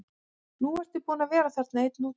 Nú ertu búinn að vera þarna einn úti.